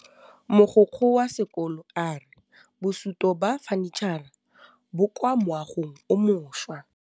Mogokgo wa sekolo a re bosutô ba fanitšhara bo kwa moagong o mošwa.